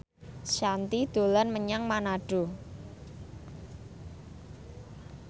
Shanti dolan menyang Manado